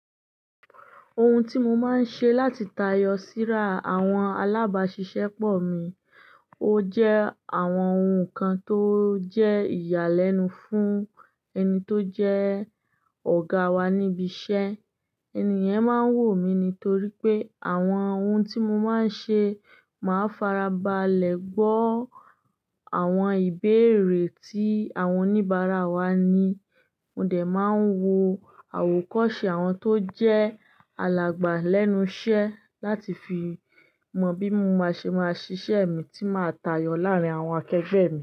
Oun tí mo máa ń ṣe láti tayọ síra àwọn alábàáṣiṣẹ́ pọ̀ mi, o jẹ àwọn oun kan tó jẹ́ ìyà lẹ́nu fún ẹni tó jẹ́ ọ̀gá wa níbi iṣẹ́. Ènì yẹn máa ń wò mí ní torí pé àwọn oun tí mo máa ń ṣe, màá farabalẹ̀ gbọ́ àwọn ìbéèrè tí àwọn oníbàárà wa ní. Mò dẹ̀ máa ń wo àwòkọ́ṣe àwọn tó jẹ́ alàgbà lẹ́nu iṣẹ́ láti fi mọ bí mo máa ṣe máa ṣiṣẹ́ mi tí màá tayọ láàárín àwọn akẹgbẹẹ mi.